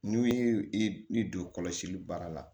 N'u ye i don kɔlɔsili baara la